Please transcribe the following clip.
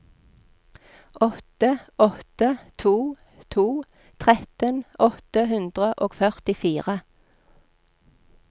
åtte åtte to to tretten åtte hundre og førtifire